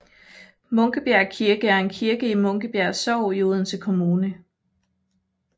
Munkebjerg Kirke er en kirke i Munkebjerg Sogn i Odense Kommune